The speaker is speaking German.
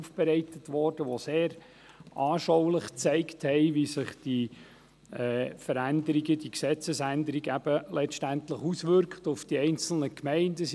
Diese zeigten sehr anschaulich, wie sich diese Veränderung, diese Gesetzesänderung letztendlich auf die einzelnen Gemeinden auswirkt.